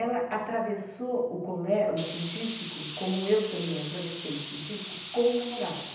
Ela atravessou o colé, o científico, como eu também atravessei o científico, com o namorado.